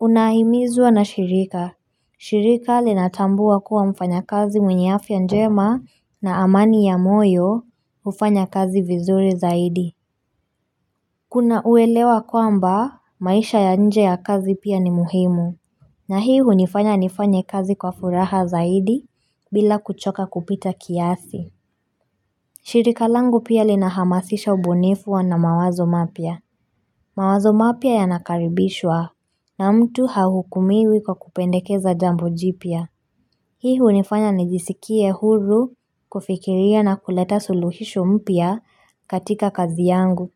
Unahimizwa na shirika. Shirika linatambua kuwa mfanya kazi mwenye afia njema na amani ya moyo hufanya kazi vizuri zaidi Kuna uelewa kwamba maisha ya nje ya kazi pia ni muhimu na hii hunifanya nifanye kazi kwa furaha zaidi bila kuchoka kupita kiasi shirika langu pia linahamasisha ubunifu wa na mawazo mapia mawazo mapia yanakaribishwa na mtu hahukumiwi kwa kupendekeza jambo jipia Hii hunifanya nijisikie huru kufikiria na kuleta suluhisho mpia katika kazi yangu.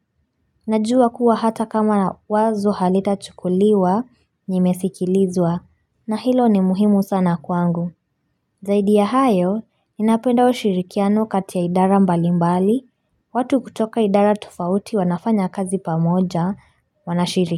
Najua kuwa hata kama wazo halita chukuliwa nimesikilizwa na hilo ni muhimu sana kwangu. Zaidi ya hayo, ninapenda ushirikiano kati ya idara mbalimbali. Watu kutoka idara tofauti wanafanya kazi pamoja wanashiriki.